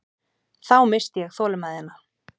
Þá missti ég þolinmæðina.